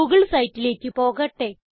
Google siteലേക്ക് പോകട്ടെ